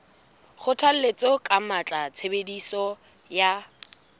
kgothalletsa ka matla tshebediso ya